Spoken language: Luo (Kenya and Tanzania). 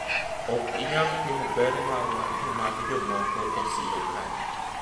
ok inyal pimo ber marwa gi mag jok moko e siro kae